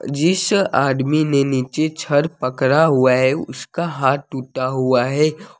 जिस आदमी ने नीचे छड़ पड़ा हुआ हैउसका हाथ टूटा हुआ है।